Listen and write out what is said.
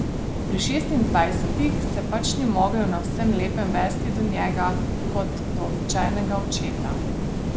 Pri šestindvajsetih se pač ni mogel na vsem lepem vesti do njega kot do običajnega očeta.